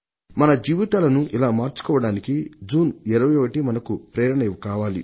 మన జీవితాలను ఇలా మార్చుకోవడానికి జూన్ 21 మనకు ప్రేరణ కావాలి